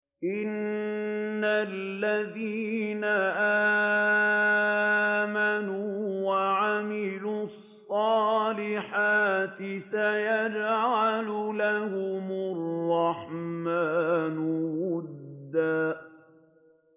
إِنَّ الَّذِينَ آمَنُوا وَعَمِلُوا الصَّالِحَاتِ سَيَجْعَلُ لَهُمُ الرَّحْمَٰنُ وُدًّا